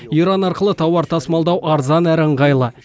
иран арқылы тауар тасымалдау арзан әрі ыңғайлы